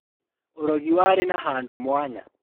Ũrogi warĩ na handũ mwanya